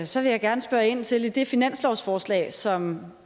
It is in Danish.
så vil jeg gerne spørge ind til det finanslovsforslag som